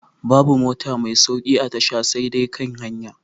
Babu mota mai sauƙi a tasha sai dai kan hanya